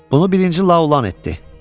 Bunu birinci La olan etdi.